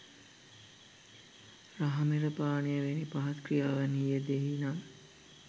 රහමෙර පානය වැනි පහත් ක්‍රියාවන්හි යෙදෙයි නම්